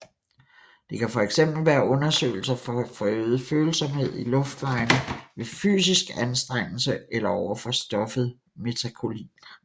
Det kan fx være undersøgelser for forøget følsomhed i luftvejene ved fysisk anstrengelse eller over for stoffet metakolin